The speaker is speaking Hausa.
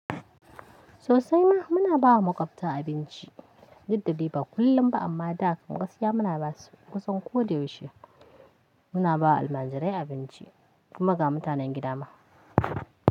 Sosai ma muna bawa muƙwabta abinci, dudda dai ba kullum ba amma da akwai gaskiya muna basu kusan ko da yaushe. Muna bawa Almanjirai abinci kuma ga mutanen gida ma.